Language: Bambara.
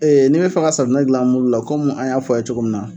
n'a bɛ fɛ ka safunɛ gilan mulu la komi an y'a fɔ a ye cogo min na.